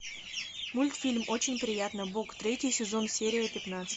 мультфильм очень приятно бог третий сезон серия пятнадцать